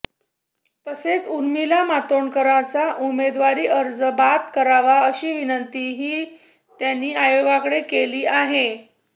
तसेच उर्मिला मातोंडकरांचा उमेदवारी अर्ज बाद करावा अशी विनंतीही त्यांनी आयोगाकडे केली आहे